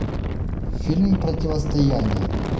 фильм противостояние